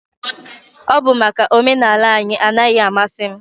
Ọ bụ maka omenala anyị anaghị amasị m